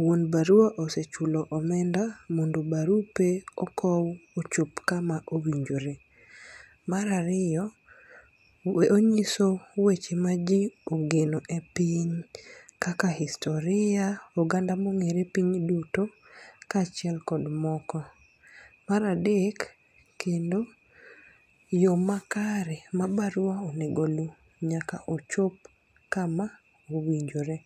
wuon barua osechulo omenda barupe okow ochop ka ma owinjore. Ma ariyo onyiso weche ma ji ogeno e piny kaka historia oganda mong'ere piny duto ka achiel kod moko. Mar adek kendo yo makare ma barua onego oluw nyaka ochop kama owinjore.